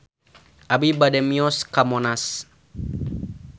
Abi bade mios ka Monas